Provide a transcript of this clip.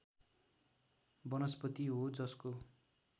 वनस्पति हो जसको